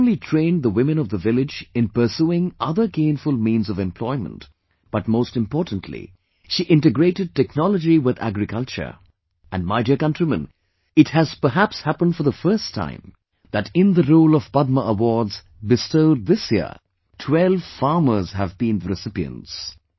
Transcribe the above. She not only trained the women of the village in pursuing other gainful means of employment, but most importantly she integrated technology with agricultureand my dear countrymen, it has perhaps happenedfor the first time, that in the roll of Padma awards bestowed this year, 12 farmers have been the recipients